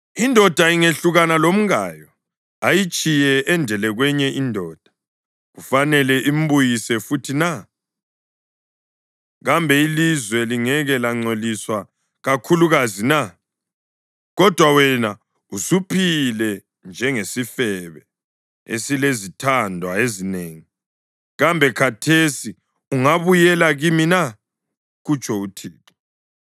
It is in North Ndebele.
“Indoda ingehlukana lomkayo ayitshiye endele kwenye indoda, kufanele imbuyise futhi na? Kambe ilizwe lingeke langcoliswa kakhulukazi na? Kodwa wena usuphile njengesifebe esilezithandwa ezinengi, kambe khathesi ungabuyela kimi na?” kutsho uThixo.